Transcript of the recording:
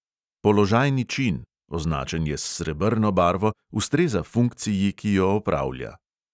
Položajni čin – označen je s srebrno barvo – ustreza funkciji, ki jo opravlja.